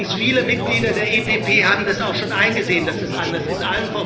Übrigens Viele Mitglieder der EPP haben das auch schon eingesehen, dass es anders ist.